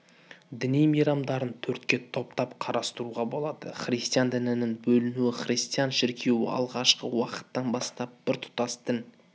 діни мейрамдарын төртке топтап қарастыруға болады христиан дінінің бөлінуі христиан шіркеуі алғашқы уақыттан бастап біртұтас дін